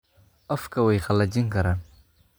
Afka way qallajin karaan.